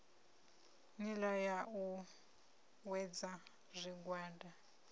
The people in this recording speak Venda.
nila ya u uuwedza zwigwada